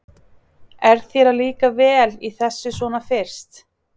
Er þér að líka vel í þessu svona fyrst?